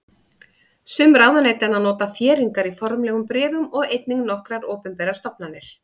Sum ráðuneytanna nota þéringar í formlegum bréfum og einnig nokkrar opinberar stofnanir.